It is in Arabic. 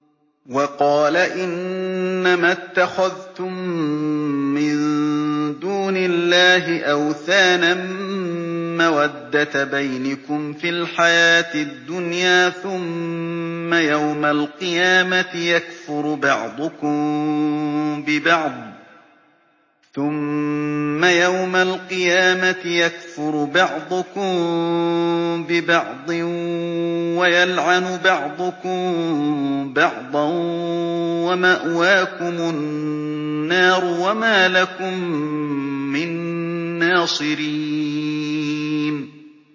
وَقَالَ إِنَّمَا اتَّخَذْتُم مِّن دُونِ اللَّهِ أَوْثَانًا مَّوَدَّةَ بَيْنِكُمْ فِي الْحَيَاةِ الدُّنْيَا ۖ ثُمَّ يَوْمَ الْقِيَامَةِ يَكْفُرُ بَعْضُكُم بِبَعْضٍ وَيَلْعَنُ بَعْضُكُم بَعْضًا وَمَأْوَاكُمُ النَّارُ وَمَا لَكُم مِّن نَّاصِرِينَ